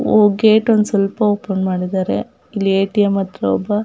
Gate ಒಂದು ಸ್ವಲ್ಪ open ಮಾಡಿದ್ದಾರೆ. ಇಲ್ಲಿ ಏ.ಟಿ.ಎಮ್ ಅತ್ರ ಒಬ್ಬ--